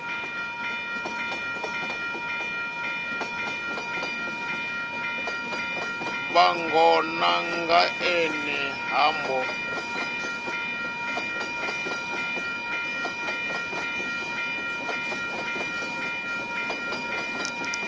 vhangona nga ene ha mbo